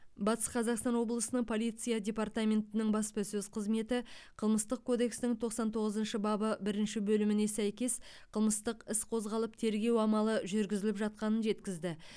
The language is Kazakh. батыс қазақстан облысының полиция департаментінің баспасөз қызметі қылмыстық кодекстің тоқсан тоғызыншы бабы бірінші бөліміне сәйкес қылмыстық іс қозғалып тергеу амалы жүргізіліп жатқанын жеткізді